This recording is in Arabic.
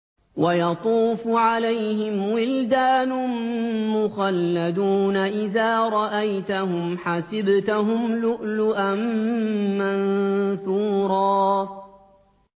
۞ وَيَطُوفُ عَلَيْهِمْ وِلْدَانٌ مُّخَلَّدُونَ إِذَا رَأَيْتَهُمْ حَسِبْتَهُمْ لُؤْلُؤًا مَّنثُورًا